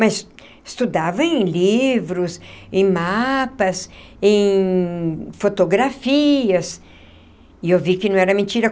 Mas... estudava em livros... em mapas... em fotografias... e eu vi que não era mentira.